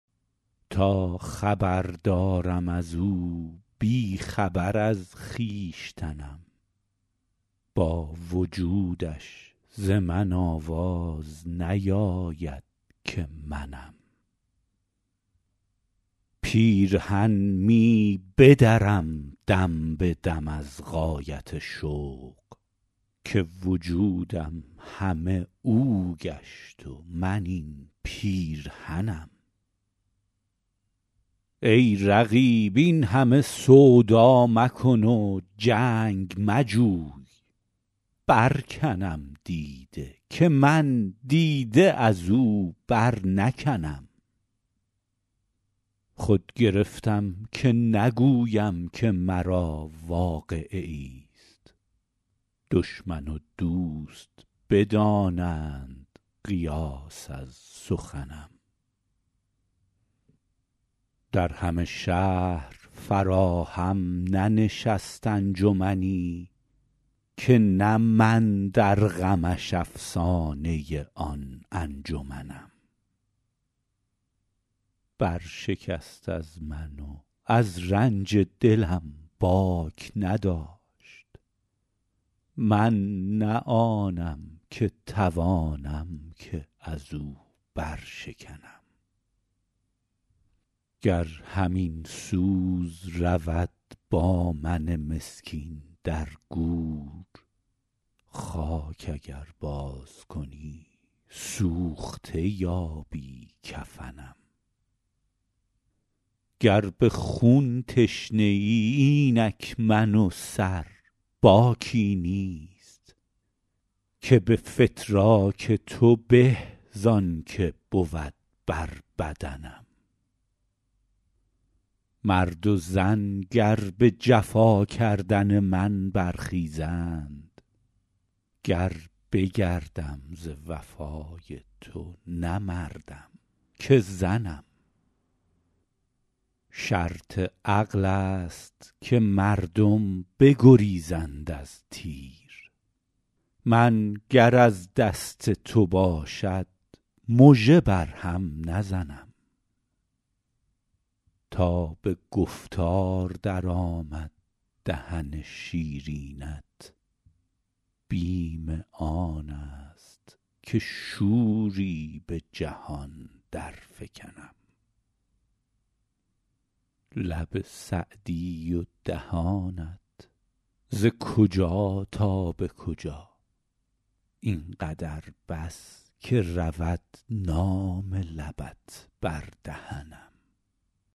تا خبر دارم از او بی خبر از خویشتنم با وجودش ز من آواز نیاید که منم پیرهن می بدرم دم به دم از غایت شوق که وجودم همه او گشت و من این پیرهنم ای رقیب این همه سودا مکن و جنگ مجوی برکنم دیده که من دیده از او برنکنم خود گرفتم که نگویم که مرا واقعه ایست دشمن و دوست بدانند قیاس از سخنم در همه شهر فراهم ننشست انجمنی که نه من در غمش افسانه آن انجمنم برشکست از من و از رنج دلم باک نداشت من نه آنم که توانم که از او برشکنم گر همین سوز رود با من مسکین در گور خاک اگر بازکنی سوخته یابی کفنم گر به خون تشنه ای اینک من و سر باکی نیست که به فتراک تو به زان که بود بر بدنم مرد و زن گر به جفا کردن من برخیزند گر بگردم ز وفای تو نه مردم که زنم شرط عقل است که مردم بگریزند از تیر من گر از دست تو باشد مژه بر هم نزنم تا به گفتار درآمد دهن شیرینت بیم آن است که شوری به جهان درفکنم لب سعدی و دهانت ز کجا تا به کجا این قدر بس که رود نام لبت بر دهنم